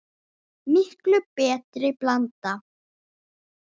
Miklu betri blanda?